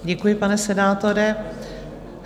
Děkuji, pane senátore.